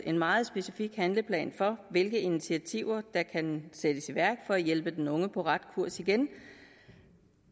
en meget specifik handleplan for hvilke initiativer der kan sættes i værk for at hjælpe den unge på ret kurs igen